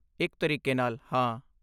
ਇੱਕ ਤਰੀਕੇ ਨਾਲ, ਹਾਂ।